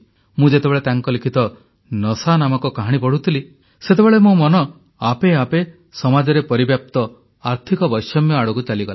ମୁଁ ଯେତେବେଳେ ତାଙ୍କ ଲିଖିତ ନଶା ନାମକ କାହାଣୀ ପଢ଼ୁଥିଲି ସେତେବେଳେ ମୋ ମନ ଆପେ ଆପେ ସମାଜରେ ପରିବ୍ୟାପ୍ତ ଆର୍ଥିକ ବୈଷମ୍ୟ ଆଡ଼କୁ ଚାଲିଗଲା